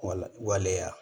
Wala waleya